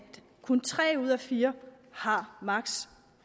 kun tre ud af fire har